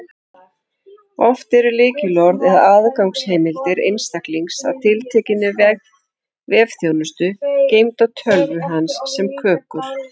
Oft eru lykilorð eða aðgangsheimildir einstaklings að tiltekinni vefþjónustu geymd á tölvu hans sem kökur.